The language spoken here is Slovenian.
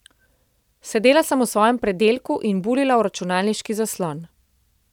Sedela sem v svojem predelku in buljila v računalniški zaslon.